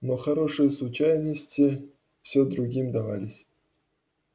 но хорошие случайности все другим давались